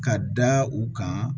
Ka da u kan